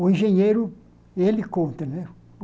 O engenheiro, ele conta, né?